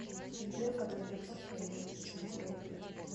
сбер когда сбербанк появится в симферополе